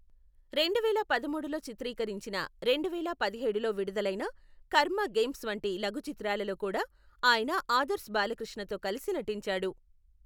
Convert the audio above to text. రెండువేల పదమూడులో చిత్రీకరించిన, రెండువేల పదిహేడులో విడుదలైన కర్మ గేమ్స్ వంటి లఘు చిత్రాలలో కూడా ఆయన ఆదర్శ్ బాలకృష్ణతో కలసి నటించాడు.